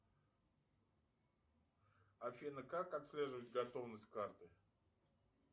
афина как отслеживать готовность карты